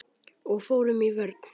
Og fórum í vörn.